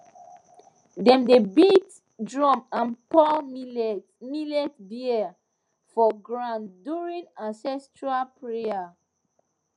dem dey beat drum and pour millet beer for ground during ancestral prayer